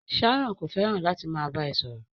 Sharon ko fẹràn láti máa bá ẹ sọ̀rọ̀.